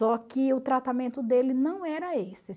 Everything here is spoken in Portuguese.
Só que o tratamento dele não era esse.